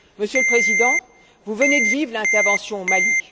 Monsieur le Président, vous venez de vivre l'intervention au Mali.